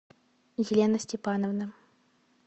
елена степановна